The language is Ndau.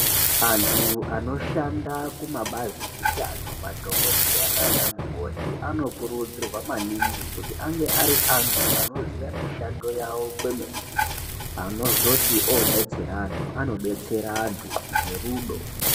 Antu anoshanda kumabazi eutano madhokodheya nana mukoti anokurudzirwa maningi kuti ange ari antu anoziya mishando yawo kwemene anozoti obetsere antu anobetsere anhu ngerudo .